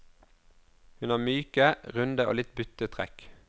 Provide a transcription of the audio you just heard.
Hun har myke, runde og litt butte trekk.